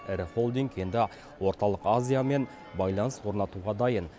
ірі холдинг енді орталық азиямен байланыс орнатуға дайын